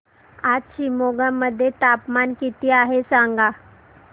आज शिमोगा मध्ये तापमान किती आहे सांगा